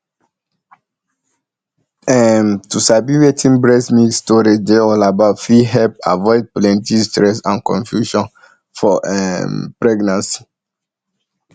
um to sabi wetin breast milk storage dey all about fit help avoid plenty stress and confusion for um ehm pregnancy